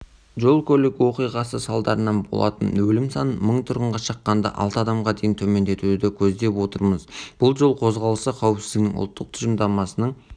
жол-көлік оқиғасы салдарынан болатын өлім санын мың тұрғынға шаққанда алты адамға дейін төмендетуді көздеп отырмыз бұл жол қозғалысы қауіпсіздігінің ұлттық тұжырымдамасының